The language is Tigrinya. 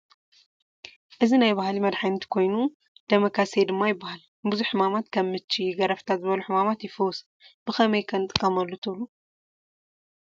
እዚ ናይ ባህሊ መድሓኒት ኮይኑ ደመ ካሴ ድማ ይባሃል፡፡ ንቡዙሕ ሕማማት ከም ምቺ፣ ገረፍታ ዝበሉ ሕማማት ይፍውስ፡፡ ብኸመይ ከ ንጥቀመሉ ትብሉ?